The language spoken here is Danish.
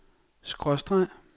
skråstreg